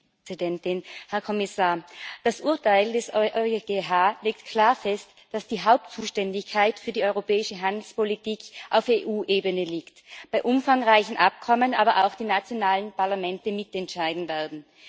Frau Präsidentin, Herr Kommissar! Das Urteil des EuGH legt klar fest, dass die Hauptzuständigkeit für die europäische Handelspolitik auf EU Ebene liegt, bei umfangreichen Abkommen aber auch die nationalen Parlamente mitentscheiden werden.